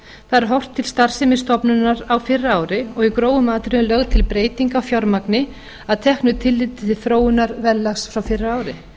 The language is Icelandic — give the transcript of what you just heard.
þar er horft til starfsemi stofnunar á fyrra ári og í grófum atriðum lögð til breyting á fjármagni að teknu áliti til þróunar verðlags frá fyrra ári